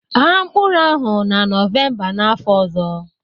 Ghaa mkpụrụ ahụ na Nọvemba n'afọ ọzọ